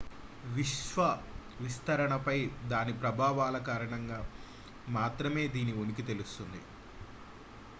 విశ్వ విస్తరణపై దాని ప్రభావాల కారణంగా మాత్రమే దీని ఉనికి తెలుస్తుంది